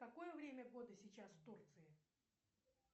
какое время года сейчас в турции